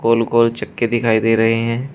गोल-गोल चक्के दिखाई दे रहे हैं।